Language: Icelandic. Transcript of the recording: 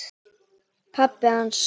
Pabbi hans?